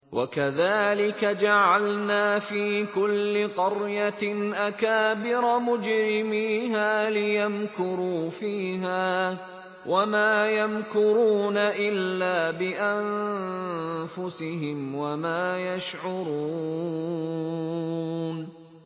وَكَذَٰلِكَ جَعَلْنَا فِي كُلِّ قَرْيَةٍ أَكَابِرَ مُجْرِمِيهَا لِيَمْكُرُوا فِيهَا ۖ وَمَا يَمْكُرُونَ إِلَّا بِأَنفُسِهِمْ وَمَا يَشْعُرُونَ